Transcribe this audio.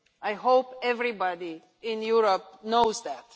I hope everybody in Europe knows that.